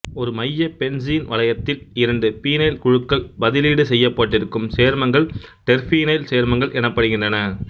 ஒரு மைய பென்சீன் வளையத்தில் இரண்டு பீனைல் குழுக்கள் பதிலீடு செய்யப்பட்டிருக்கும் சேர்மங்கள் டெர்பீனைல் சேர்மங்கள் எனப்படுகின்றன